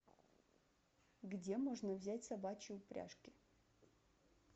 где можно взять собачьи упряжки